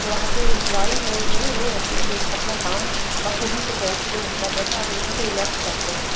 जो वहाँ के नाई है जो वो अपने उस अपना काम बाखूबी से कैंची ले के कर रहे है और बहुत ही रिलैक्स बैठे है।